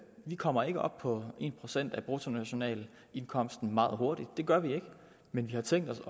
kommer ikke op på en procent af bruttonationalindkomsten meget hurtigt det gør vi ikke men vi har tænkt os